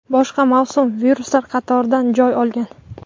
boshqa mavsumiy viruslar qatoridan joy olgan.